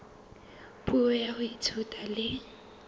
puo ya ho ithuta le